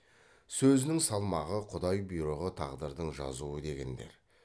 сөзінің салмағы құдай бұйрығы тағдырдың жазуы дегендер